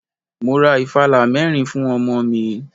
Mo ra ìfàlá mẹ́rin fún ọmọ mi.